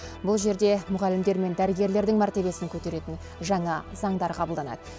бұл жерде мұғалімдер мен дәрігерлердің мәртебесін көтеретін жаңа заңдар қабылданады